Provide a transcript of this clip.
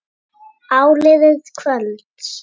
Áliðið kvölds.